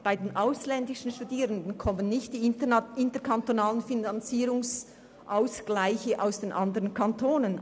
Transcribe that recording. Bei den ausländischen Studierenden kommen die interkantonalen Finanzierungsausgleiche nicht zum Zug.